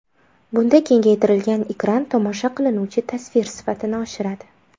Bunda kengaytirilgan ekran tomosha qilinuvchi tasvir sifatini oshiradi.